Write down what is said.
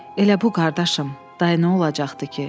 Elə bu, qardaşım, day nə olacaqdı ki?